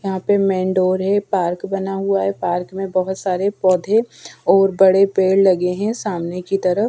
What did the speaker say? यहाँ पे main door है पार्क बना हुआ है पार्क में बोहोत सारे पौधे और बड़े पेड़ लगे है सामने की तरफ।